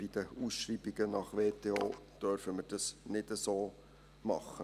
Bei den Ausschreibungen nach WTO dürfen wir das nicht so machen.